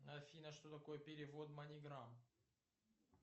афина что такое перевод маниграм